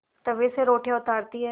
तवे से रोटियाँ उतारती हैं